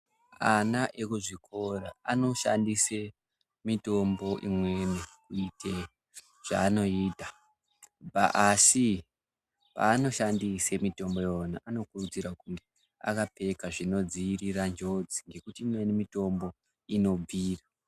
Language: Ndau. Ana ekuzvikora anoshandisa mitombo imweni kuite zvaanoita asi paanoshandisa mitombo iyona anokurudzirwa kuti ange akapfeka zvinodzivirira njodzi ngekuti imweni mitombo inobvira.